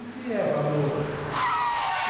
O que é valor?